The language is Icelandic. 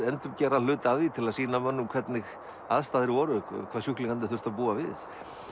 endurgera hluta af því til að sýna mönnum hvernig aðstæður voru hvað sjúklingarnir þurftu að búa við